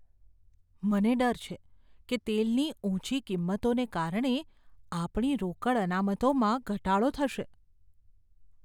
મને ડર છે કે તેલની ઊંચી કિંમતોને કારણે આપણી રોકડ અનામતોમાં ઘટાડો થશે.